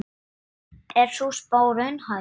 Er sú spá raunhæf?